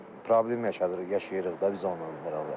Problem yaşayırıq da biz onlarla bərabər.